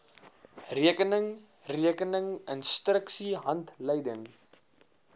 rekeninge rekening instruksiehandleidings